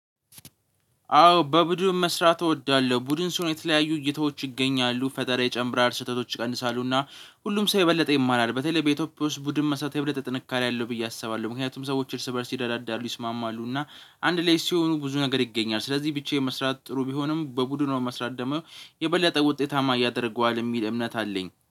አዎ በቡድን መስራት እወዳለሁ። ቡድን ሲሆን የተለያዩ እይታዎች ይገኛሉ። ፈጠራ ይጨምራል ስህተቶች ይቀንሳሉና ሁሉም ሰው የበለጠ ይማራል። በተለይ በኢትዮፒያ ውስጥ ቡድን መስራት የበለጠ ጥንካሬ አለው ብዬ አስባለሁ። ምክንያቱም ሰዎች እርስ በእርስ ይረዳዳሉ ይስማማሉ እና አንድ ላይ ሲሆኑ ብዙ ነገር ይገኛል። ስለዚህ ብቻዬን መስራት ጥሩ ቢሆንም በቡድኑ ሆኖ መስራት ደሞ የበለጠ ውጤታማ ያደርጓል የሚል እምነት አለኝ